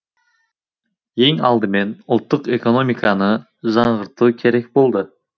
ең алдымен ұлттық экономиканы жаңғырту керек болды